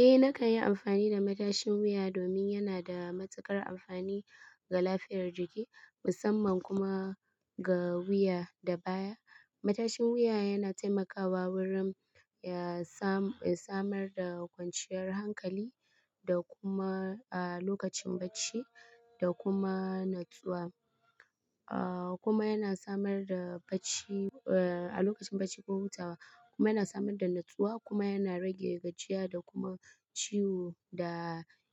Eh nakan yi amfani da matashin wuya domin yana da matakar amfani ga lafiyar jiki musamman kuma ga wuya da baya. Matashin wuya yana taimakawa wurin ya samar da kwanciyar hankali da kuma a lokacin bacci da kuma natsuwa. Kuma yana samar da bacci a lokacin bacci ko hutawa kuma yana samar da natsuwa kuma yana rage gajiya da kuma ciwo da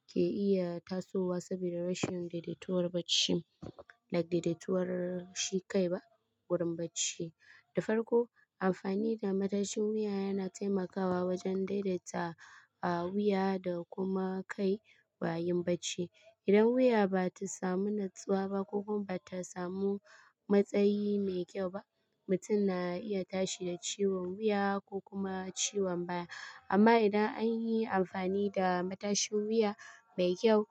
ke iya tasowa saboda rashin daidaituwar bacci da daidaituwar shi kai ba wurin bacci. Da farko amfani da matashin wuya yana taimakawa wajen daidaita wuya da kuma kai yayin bacci. Idan wuya ba ta samu natsuwa ba ko kuma ba ta samu matsayi mai kyau ba mutum na iya tashi da ciwon wuya ko kuma ciwon baya. Amma idan an yi amfani da matashin wuya mai kyau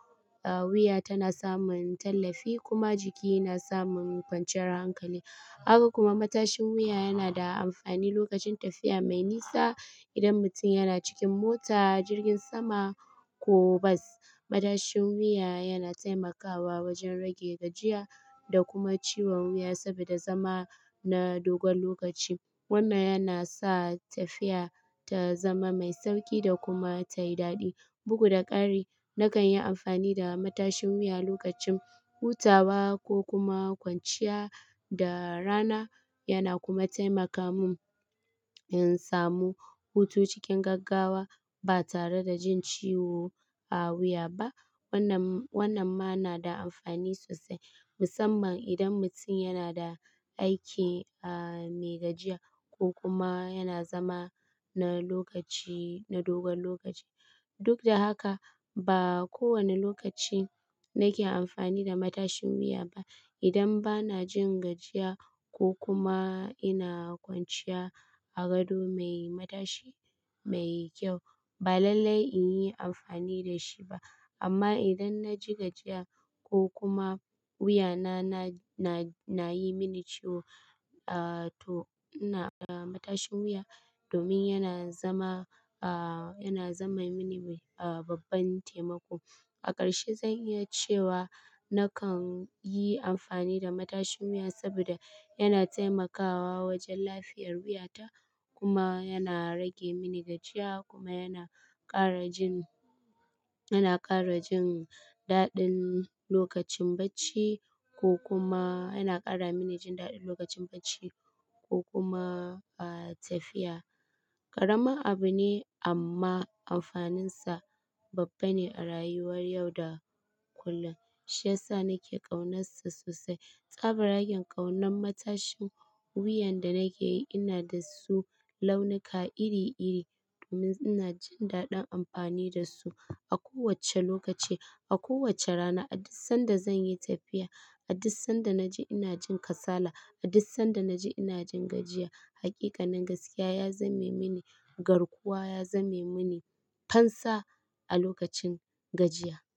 wuya tana samun tallafi kuma jiki yana samun kwanciyar hankali. Haka kuma matashin wuya yana da amfani lokacin tafiya mai nisa idan mutum yana cikin mota jirgin sama ko bas. Matashin wuya yana taimakawa wajen rage gajiya da kuma ciwon wuya saboda zama na dogon lokaci. Wannan yana sa tafiya ta zama mai sauƙi da kuma tayi daɗi. Bugu da ƙari nakan yi amfani da matashin wuya lokacin hutawa ko kuma kwanciya da rana yana kuma taimaka mun in samu hutu cikin gaggawa ba tare da jin ciwo a wuya ba. Wannan wannan ma na da amfani sosai musamman idan mutum yana da aiki mai gajiya ko kuma yana zama na lokaci na dogon lokaci. Duk da haka ba kowane lokaci nake amfani da matashin wuya ba. Idan bana jin gajiya ko kuma ina kwanciya a gado mai matashi mai kyau ba lallai in yi amfani da shi ba. Amma idan na ji gajiya ko kuma wuya na na na yi mini ciwo to ina da matashin wuya domin yana zama a yana zama mini babban taimako. A ƙarshe zan iya cewa nakan yi amfani da matashin wuya saboda yana taimakawa wajen lafiyar wuyata kuma yana rage mini gajiya kuma yana ƙara jin yana ƙara jin daɗin lokacin bacci ko kuma yana ƙara mini jin daɗin lokacin bacci ko kuma tafiya. Ƙaramin abu ne amma amfaninsa babba ne a rayuwar yau da kullum. Shi ya sa nake ƙaunarsa sosai. Tsabar haken ƙaunan matashin wuyan da nake yi ina da su launuka iri iri domin ina jin daɗin amfani da su a kowacce lokaci a kowacce rana. A duk sanda zan yi tafiya a duk sanda na ji ina jin kasala a duk sanda na ji ina jin gajiya. Hakikanin gaskiya ya zame mini garkuwa ya zame mini fansa a lokacin gajiya.